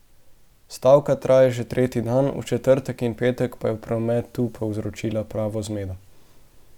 Stavka traja že tretji dan, v četrtek in petek pa je v prometu povzročila pravo zmedo.